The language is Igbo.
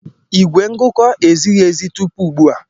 Igwe ngụkọ ezighi ezi tupu ugbu a.